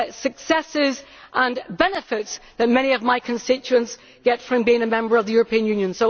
successes and benefits that many of my constituents get from the UK being a member of the European Union.